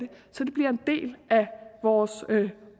vores